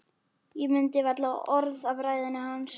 Ég mundi varla orð af ræðunni hans.